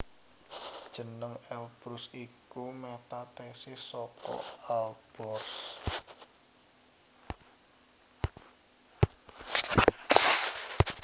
Jeneng Elbrus iku metathesis saka Alborz